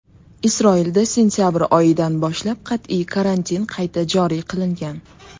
Isroilda sentabr oyidan boshlab qat’iy karantin qayta joriy qilingan .